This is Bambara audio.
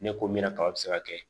Ne ko min na kaba be se ka kɛ